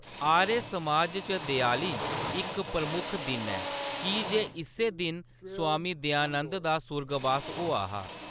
आर्य समाज च देआली इक प्रमुख दिन ऐ की जे इस्सै दिन स्वामी दयानंद दा सुर्गबास होआ हा।